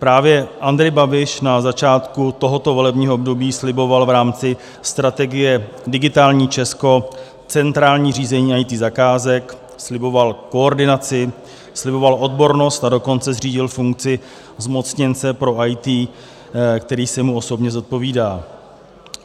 Právě Andrej Babiš na začátku tohoto volebního období sliboval v rámci strategie Digitální Česko centrální řízení IT zakázek, sliboval koordinaci, sliboval odbornost, a dokonce zřídil funkci zmocněnce pro IT, který se mu osobně zodpovídá.